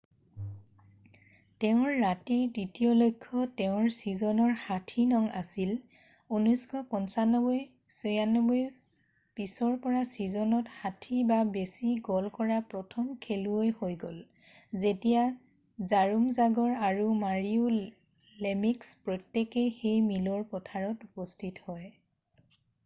তেওঁৰ ৰাতিৰ দ্বিতীয় লক্ষ্য তেওঁৰ চিজনৰ 60নং আছিল 1995-96ৰ পিছৰ পৰা চিজনত 60 বা বেছি গ'ল কৰা প্ৰথম খেলুৱৈ হৈ গ'ল যেতিয়া জৰোম জাগৰ আৰু মাৰীও লেমিক্স প্ৰত্যেকেই সেই মিলৰ পাথৰত উপস্থিত হয়।